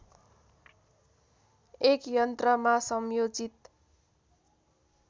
एक यन्त्रमा संयोजित